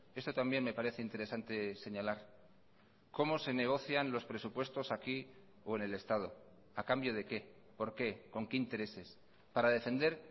esto también me parece interesante señalar cómo se negocian los presupuestos aquí o en el estado a cambio de qué por qué con qué intereses para defender